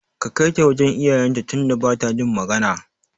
Ka Kaita wajan iyayen ta tunda bata jin magana